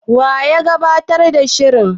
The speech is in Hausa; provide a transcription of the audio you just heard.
Wa ya gabatar da shirin?